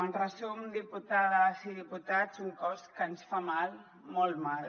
en resum diputades i diputats un cos que ens fa mal molt mal